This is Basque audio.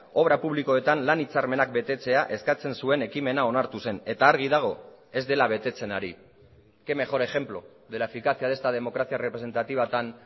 obra publikoetan lan hitzarmenak betetzea eskatzen zuen ekimena onartu zen eta argi dago ez dela betetzen ari qué mejor ejemplo de la eficacia de esta democracia representativa tan